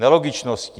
Nelogičností.